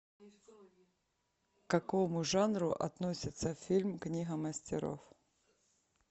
к какому жанру относится фильм книга мастеров